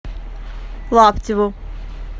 лаптеву